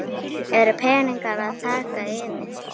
eru peningar að taka yfir?